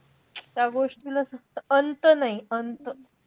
त्या गोष्टीला सुद्धा अंत नाई अंत.